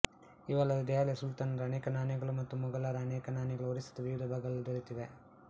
ಇವಲ್ಲದೆ ದೆಹಲಿಯ ಸುಲ್ತಾನರ ಅನೇಕ ನಾಣ್ಯಗಳೂ ಮತ್ತು ಮೊಗಲರ ಅನೇಕ ನಾಣ್ಯಗಳೂ ಒರಿಸ್ಸದ ವಿವಿಧ ಭಾಗಗಳಲ್ಲಿ ದೊರೆತಿವೆ